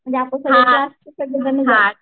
म्हणजे आता सगळ्यात जास्त सगळी जणी जाऊ.